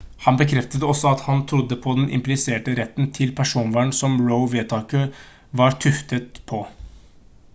han bekreftet også at han trodde på den impliserte retten til personvern som roe-vedtaket var tuftet på